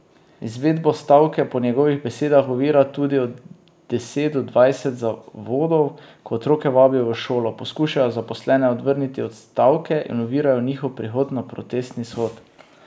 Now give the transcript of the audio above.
Izvedbo stavke po njegovih besedah ovira tudi od deset do dvajset zavodov, ki otroke vabijo v šolo, poskušajo zaposlene odvrniti od stavke in ovirajo njihov prihod na protestni shod.